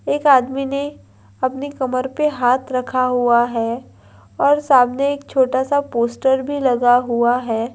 एक आदमी ने अपनी कमर पर हाथ रखा हुआ है और सामने एक छोटा सा पोस्ट भी लगा हुआ है|